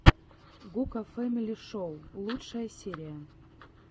гука фэмили шоу лучшая серия